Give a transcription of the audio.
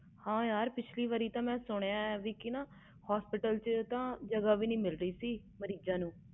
ਹਾਂ ਯਾਰ ਮੈਂ ਸੁਣਿਆ ਸੀ ਕਿ ਪਿਛਲੀ ਵਾਰ hospital ਚ ਜ੍ਹਗਾ ਨਹੀਂ ਮਿਲ ਰਹੀ